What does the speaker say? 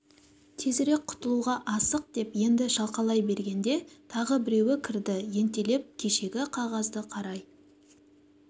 тезірек құтылуға асық деп енді шалқалай бергенде тағы біреуі кірді ентелеп кешегі қағазды қарай